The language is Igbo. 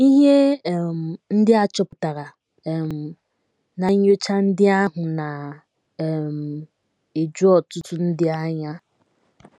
Ihe um ndị a chọpụtara um ná nnyocha ndị ahụ na um - eju ọtụtụ ndị anya.